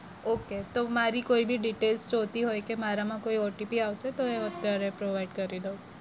okay તો મારી કોઈ બી detail જોવતી હોય કે મારામાં કોઈ OTP આવશે હોય તો એ હું અત્યારે provide કરી દવ.